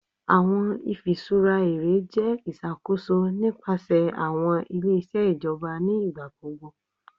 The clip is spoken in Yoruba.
Awọn ifiṣura ere jẹ iṣakoso nipasẹ awọn ile-iṣẹ ijọba ni igbagbogbo